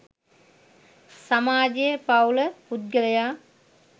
සමාජය පවුල පුද්ගලයා